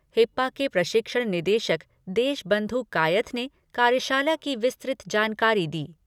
हिप्पा के प्रशिक्षण निदेशक देशबंधु कायथ ने कार्यशाला की विस्तृत जानकारी दी।